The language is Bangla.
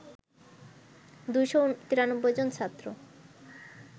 ২৯৩ জন ছাত্র